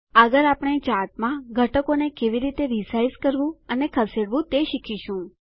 આગળ આપણે ચાર્ટમાં ઘટકોને કેવી રીતે રીસાઈઝ માપમાં ફરીથી ફેરફાર કરવું કરવું અને ખસેડવું તે શીખીશું